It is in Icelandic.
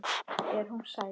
Er hún sæt?